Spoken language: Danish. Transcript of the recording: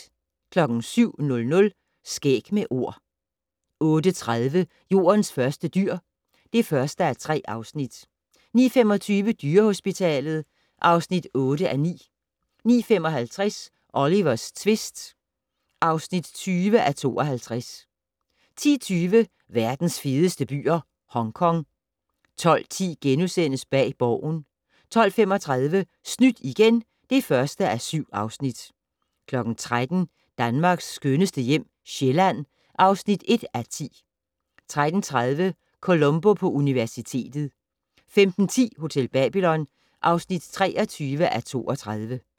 07:00: Skæg med Ord 08:30: Jordens første dyr (1:3) 09:25: Dyrehospitalet (8:9) 09:55: Olivers tvist (20:52) 10:20: Verdens fedeste byer - Hongkong 12:10: Bag Borgen * 12:35: Snydt igen (1:7) 13:00: Danmarks skønneste hjem - Sjælland (1:10) 13:30: Columbo på universitetet 15:10: Hotel Babylon (23:32)